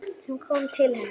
Hann kom til hennar.